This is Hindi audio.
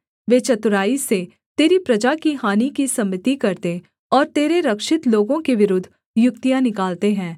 वे चतुराई से तेरी प्रजा की हानि की सम्मति करते और तेरे रक्षित लोगों के विरुद्ध युक्तियाँ निकालते हैं